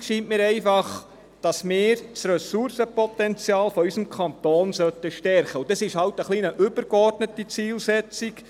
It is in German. Wichtig scheint mir einfach, dass wir das Ressourcenpotenzial unseres Kantons stärken sollten, und das ist halt eine übergeordnete Zielsetzung.